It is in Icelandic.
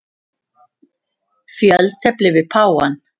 Fjöltefli við páfann.